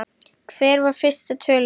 Hver var fyrsta tölvuveiran?